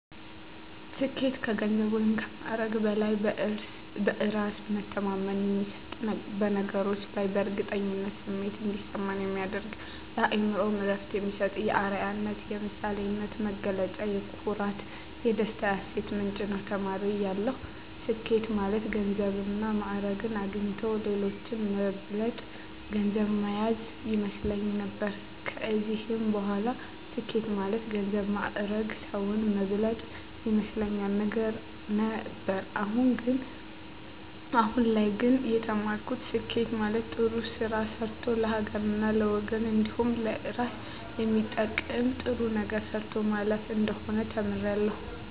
ስኬት ከገንዘብ ወይም ከማዕረግ በላይ በእራስ መተማመን የሚሰጥ በነገሮች ላይ የእርግጠኝነት ስሜት እንዲሰማ የሚያደርግ ለአእምሮ እረፍት የሚሰጥ የአረያነት የምሳሌነት መገለጫ የኩራት የደስታ የሀሴት ምንጭ ነዉ። ተማሪ እያለሁ ስኬት ማለት ገንዘብና ማእረግ አግኝቶ ሌሎችን መብለጥ ገንዘብ ማያዝ ይመስለኝ ነበር ከዚህም በላይ ስኬት ማለት ገንዘብ ማእረግ ሰዉን መብለጥ ይመስለኝ ነበር አሁን ላይ ግን የተማርኩት ስኬት ማለት ጥሩ ስራ ሰርቶ ለሀገርና ለወገን እንዲሁም ለእራስ የሚጠቅም ጥሩ ነገር ሰርቶ ማለፍ እንደሆነ ተምሬያለሁ።